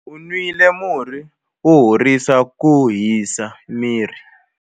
U nwile murhi wo horisa ku hisa miri.